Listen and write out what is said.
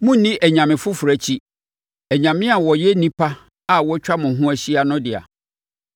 Monnni anyame foforɔ akyi—anyame a wɔyɛ nnipa a wɔatwa mo ho ahyia no dea;